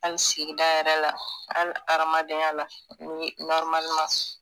hali sigida yɛrɛ la hali hadamadenya la ni